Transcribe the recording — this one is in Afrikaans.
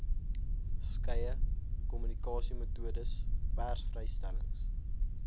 skeie kommunikasiemetodes persvrystellings